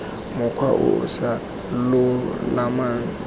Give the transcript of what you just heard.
mokgwa o o sa lolamang